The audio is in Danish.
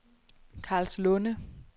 Karlslunde